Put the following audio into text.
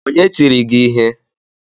Onye tiri gi ihe?